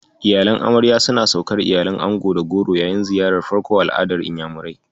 Iyalan amarya sun saukar iyalan ango da goro yayin ziyarar farko a al'adar Inyamurai.